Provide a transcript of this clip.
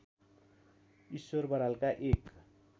ईश्वर बरालका एक